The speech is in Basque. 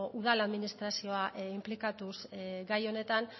udal administrazioa inplikatuz gai honetan